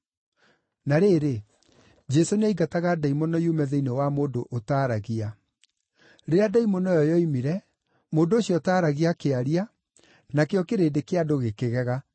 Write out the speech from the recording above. Na rĩrĩ, Jesũ nĩaingataga ndaimono yume thĩinĩ wa mũndũ ũtaaragia. Rĩrĩa ndaimono ĩyo yoimire, mũndũ ũcio ũtaaragia akĩaria, nakĩo kĩrĩndĩ kĩa andũ gĩkĩgega.